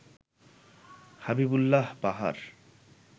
Habibullah Bahar